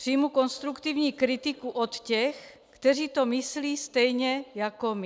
Přijmu konstruktivní kritiku od těch, kteří to myslí stejně jako my."